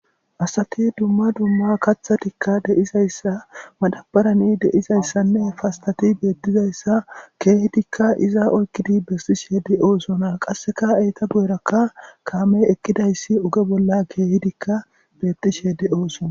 Asati dumma dumma kaththatikka deizayssa madabarani deizayssanne fastati beettizayssa keehidikka iza oykkidi bestishe de'oosona qasseka etta guyerakka kaame eqqidayssi oge bolla keehidikka bettishe de'oosona